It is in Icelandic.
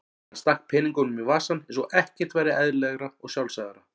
Hann stakk peningunum í vasann eins og ekkert væri eðlilegra og sjálfsagðara.